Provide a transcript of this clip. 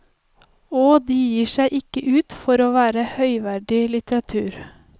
Og de gir seg ikke ut for å være høyverdig litteratur.